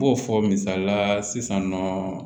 N b'o fɔ misalila sisan nɔ